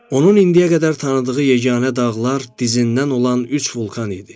Onun indiyə qədər tanıdığı yeganə dağlar dizindən olan üç vulkan idi.